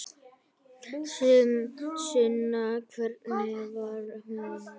Sunna: Hvernig var hún?